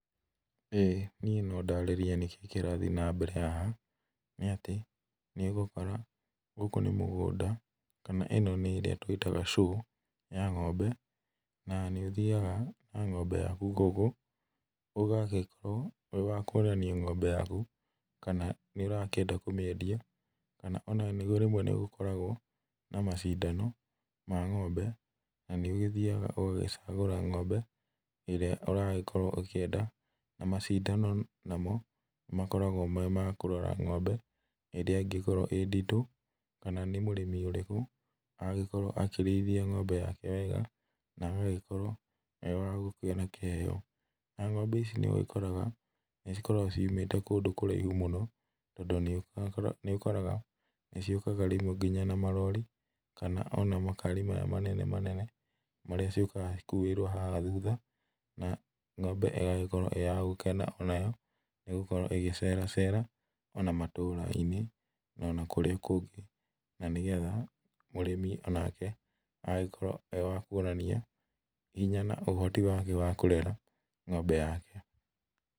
Ĩĩ niĩ no ndarĩrie nĩkĩĩ kĩrathiĩ na mbere haha , nĩ atĩ nĩgũkora gũkũ nĩ mũgũnda ,kana ĩno nĩ ĩrĩa twĩtaga show ya ngombe, na nĩ ũthiaga na ngombe yaku gũkũ, ũgagĩkorwo wĩ wa kũrania ngombe yaku kana nĩ ũrakĩenda kũmĩendia, kana ona rĩmwe nĩgũkoragwo na macindano ma ngombe , na nĩ ũgĩthiaga ũgagĩcagũra ngombe ĩrĩa ũragĩkorwo ũkĩenda, macindano namo nĩmakoragwo me ma kũrora ngombe, ĩrĩa ĩngĩkorwo ĩ nditũ, kana nĩ mũrĩmi ũrĩkũ angĩkorwo akĩrĩithia ngombe yake wega, na agagĩkorwo wa kũgĩa na kĩheo, na ngombe ici nĩ ũgĩkoraga nĩcikoragwo ciumĩte kũndũ kũraihu mũno, tondũ nĩ ũkoraga , nĩciũkaga rĩmwe nginya na marori , kana ona makari maya manene manene , marĩa ciũkaga cikuĩirwo haha thutha , na ngombe ĩgagĩkorwo ĩyagũkena onayo nĩgũkorwo ĩgĩceracera ona matũra-inĩ na ona kũrĩa kũngĩ, na nĩgetha mũrĩmi onake agakorwo wa kuonania, hinya na ũhoti wake wa kũrera ngombe yake.